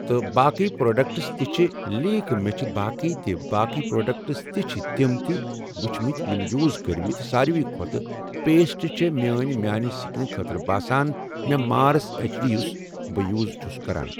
تہٕ باقی پروڈکٹس تہِ چھِ لیک مےٚ چھِ باقی تہِ چھ باقی پروڈکٹس تہِ چھ تم تہِ وُچھمٕتۍ یمہٕ یوٗز کرٔۍمتۍ ساروی کھۄتہٕ پیسٹ چھ میان میانہِ سِکنہٕ خٲطرٕ باسان مےٚ مارس اٮ۪چ ڈی یُس بہٕ یوٗز چھس کران۔